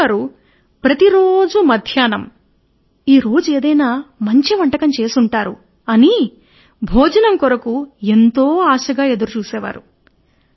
రాజుగారు ప్రతి రోజు మధ్యాహ్న భోజనం కొరకు ఎంతో ఆశగా ఎదురు చూసేవారు